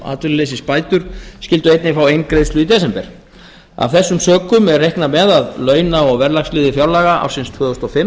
atvinnuleysisbætur skyldu einnig fá eingreiðslu í desember af þessum sökum er reiknað með að launa og verðlagsliður fjárlaga ársins tvö þúsund og fimm